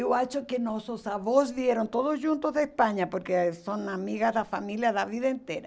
Eu acho que nossos avós vieram todos juntos da Espanha, porque são amigas da família da vida inteira.